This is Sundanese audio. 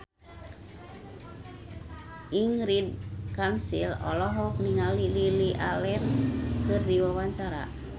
Ingrid Kansil olohok ningali Lily Allen keur diwawancara